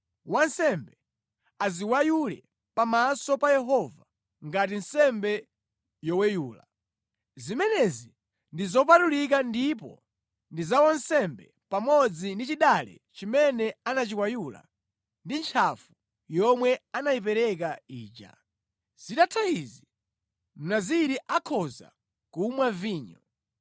Wansembe aziweyule pamaso pa Yehova ngati nsembe yoweyula. Zimenezi ndi zopatulika ndipo ndi za wansembe pamodzi ndi chidale chimene anachiweyula ndi ntchafu yomwe anayipereka ija. Zitatha izi, Mnaziri akhoza kumwa vinyo.